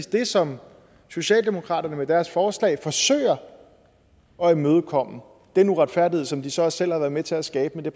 det som socialdemokratiet med deres forslag forsøger at imødekomme den uretfærdighed som de så selv har været med til at skabe